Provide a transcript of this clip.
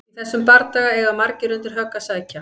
Í þessum bardaga eiga margir undir högg að sækja!